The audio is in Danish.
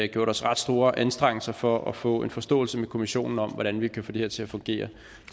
gjort os ret store anstrengelser for at få en forståelse med kommissionen om hvordan vi kan få det her til at fungere